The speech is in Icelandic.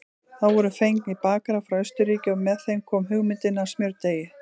Þá voru fengnir bakarar frá Austurríki og með þeim kom hugmyndin að smjördeigi.